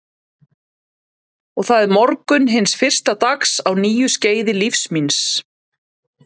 Og það er morgunn hins fyrsta dags á nýju skeiði lífs míns.